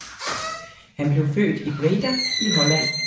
Han blev født i Breda i Holland